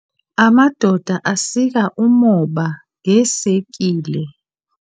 Amadoda asika ummoba ngeesekile.